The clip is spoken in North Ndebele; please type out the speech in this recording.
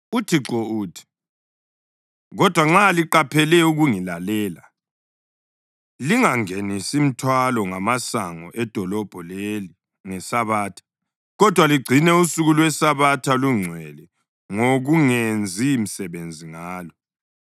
UThixo uthi: Kodwa nxa liqaphele ukungilalela, lingangenisi mthwalo ngamasango edolobho leli ngeSabatha, kodwa ligcina usuku lweSabatha lungcwele ngokungenzi msebenzi ngalo,